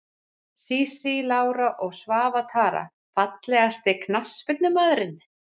Sísí Lára og Svava Tara Fallegasti knattspyrnumaðurinn?